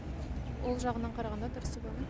ол жағынан қарағанда дұрыс деп ойлаймын